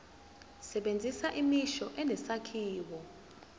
sebenzisa imisho enesakhiwo